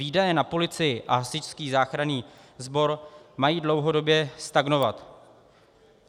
Výdaje na policii a hasičský záchranný sbor mají dlouhodobě stagnovat.